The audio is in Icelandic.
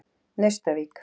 Naustavík